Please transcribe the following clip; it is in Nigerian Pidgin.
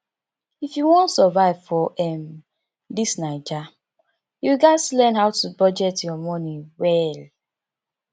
if you wan survive for um dis naija you gats learn how to budget your moni well